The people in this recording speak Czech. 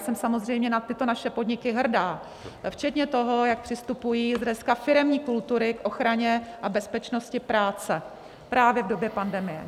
Jsem samozřejmě na tyto naše podniky hrdá, včetně toho, jak přistupují dneska firemní kultury k ochraně a bezpečnosti práce právě v době pandemie.